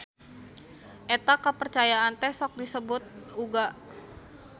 Eta kapercayaan teh sok disebut uga.